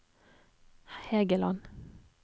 Hægeland